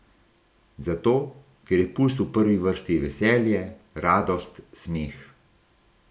Zato, ker je pust v prvi vrsti veselje, radost, smeh.